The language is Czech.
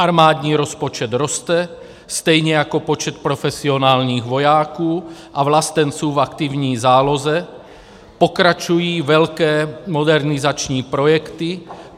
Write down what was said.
Armádní rozpočet roste, stejně jako počet profesionálních vojáků a vlastenců v aktivní záloze, pokračují velké modernizační projekty.